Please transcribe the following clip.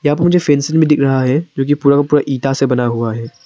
यहां पे फेंसिंग भी दिख रहा है जोकि पूरा इटा से बना हुआ है।